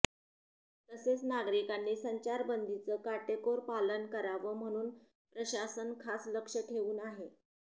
तसेच नागरिकांनी संचारबंदीचं काटेकोरपालन करावं म्हणून प्रशासन खास लक्ष ठेवून आहे